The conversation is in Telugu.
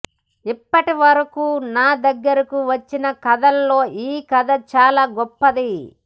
ఇప్పటివరకు నా దగ్గరకు వచ్చిన కథల్లో ఈ కథ చాలా గొప్పది